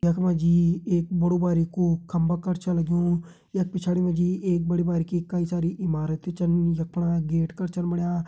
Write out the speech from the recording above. यख मा जी एक बड़ू बारिकु खम्बा कर छ लग्युं यख पिछाड़ी मा जी एक बड़ी बारीकी कई सारी इमारत छन यख फणा गेट कर छन बण्या।